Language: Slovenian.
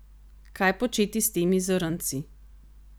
Kaj početi s temi zrnci?